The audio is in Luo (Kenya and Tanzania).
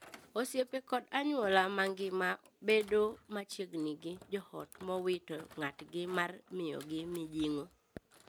Osiepe kod anyuola mangima bedo machiegni gi joot mowito ng'atgi mar miyogi mijing'o.